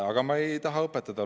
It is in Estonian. Aga ma ei taha õpetada.